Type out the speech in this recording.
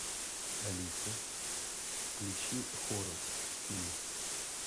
алиса включи хоррор фильм